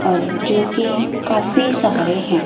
और जो कि काफी सारे हैं।